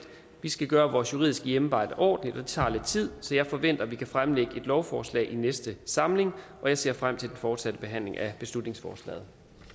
vi skal gøre vores juridiske hjemmearbejde ordentligt og det tager lidt tid så jeg forventer at vi kan fremlægge et lovforslag i næste samling jeg ser frem til den fortsatte behandling af beslutningsforslaget